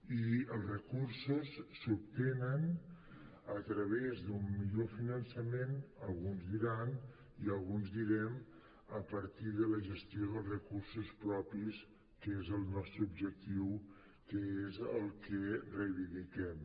i els recursos s’obtenen a través d’un millor finançament alguns diran i alguns direm a partir de la gestió dels recursos propis que és el nostre objectiu que és el que reivindiquem